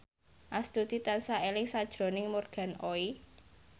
Astuti tansah eling sakjroning Morgan Oey